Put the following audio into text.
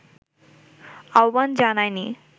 আহ্বান জানায়নি